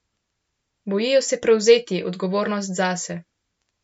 Bojijo se prevzeti odgovornost zase.